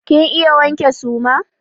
Kin iya wanke suma?